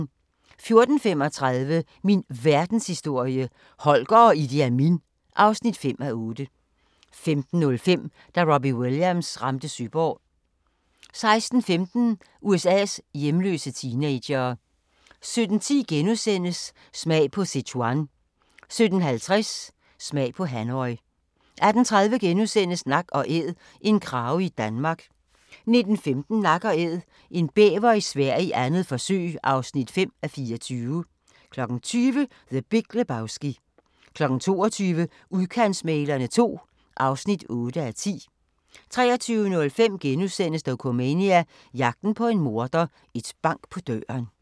14:35: Min Verdenshistorie – Holger og Idi Amin (5:8) 15:05: Da Robbie Williams ramte Søborg 16:15: USA's hjemløse teenagere 17:10: Smag på Sichuan * 17:50: Smag på Hanoi 18:30: Nak & æd - en krage i Danmark (4:24)* 19:15: Nak & Æd – en bæver i Sverige, 2. forsøg (5:24) 20:00: The Big Lebowski 22:00: Udkantsmæglerne II (8:10) 23:05: Dokumania: Jagten på en morder - et bank på døren *